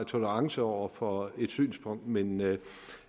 tolerance over for et synspunkt men